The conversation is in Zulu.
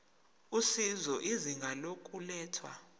usizo izinga lokulethwa